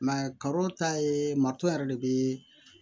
karo ta ye matɔr yɛrɛ de bee